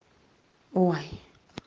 ой